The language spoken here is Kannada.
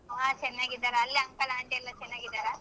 ಹ ಚೆನ್ನಾಗಿದರ್ ಅಲ್ಲಿ uncle aunty ಎಲ್ಲಾ ಚೆನ್ನಾಗಿದಾರ?